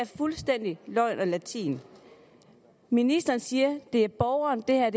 fuldstændig løgn og latin ministeren siger at det er borgeren det her